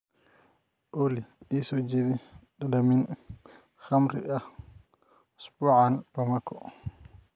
olly ii soo jeedi dhadhamin khamri ah usbuucan bamako